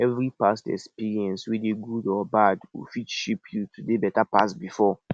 evri past experience weda gud or bad go fit shape yu to dey beta pass bifor